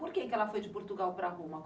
Por que ela foi de Portugal para Roma?